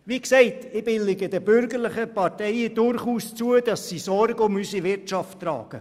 Wie gesagt, billige ich den bürgerlichen Parteien durchaus zu, dass sie Sorge zu unserer Wirtschaft tragen.